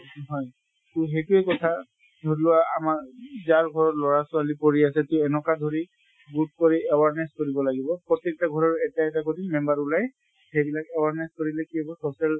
হয়। তʼ সেইটোয়ে কথা ধৰি লোৱা আমাৰ যাৰ ঘৰত লʼৰা ছোৱালী পঢ়ি আছে তিয় এনকা কৰি গোট কৰি awareness কৰিব লাগিব। প্ৰত্য়েকতা ঘৰৰ এটা এটা কৰি member ওলাই সেইবিলাক awareness কৰিলে কি হʼব social